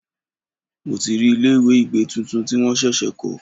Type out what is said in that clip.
Mo ti rí ilé ìgbẹ́ tuntun tí wọ́n ṣẹ̀ṣẹ̀ kọ́.